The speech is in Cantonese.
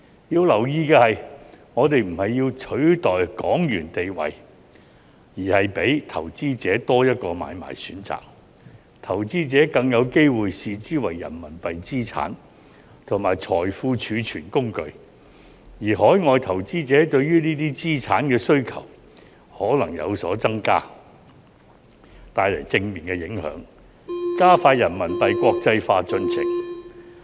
要留意的是，我們並非要取代港元的地位，而是給予投資者多一個買賣選擇，投資者更有機會視之為人民幣資產及財富儲存工具，而海外投資者對於這些資產的需求可能有所增加，帶來正面影響，加快人民幣國際化進程。